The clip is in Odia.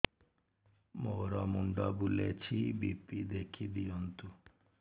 ମୋର ମୁଣ୍ଡ ବୁଲେଛି ବି.ପି ଦେଖି ଦିଅନ୍ତୁ